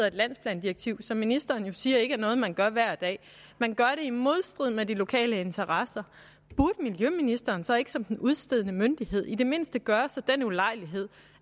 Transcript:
et landsplandirektiv som ministeren siger ikke er noget man gør hver dag i modstrid med de lokale interesser burde miljøministeren så ikke som den udstedende myndighed i det mindste gøre sig den ulejlighed